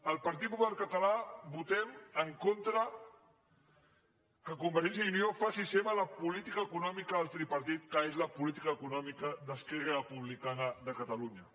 el partit popular català votem en contra que convergència i unió faci seva la política econòmica del tripartit que és la política econòmica d’esquerra republicana de catalunya